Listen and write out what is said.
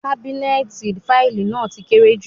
Kábínẹ́ẹ̀tì fáìlì náà ti kéré jù.